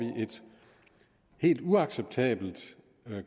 vi et helt uacceptabelt